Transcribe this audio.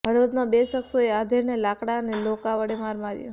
હળવદમાં બે શખ્શોએ આધેડને લાકડા અને ધોકા વડે માર માર્યો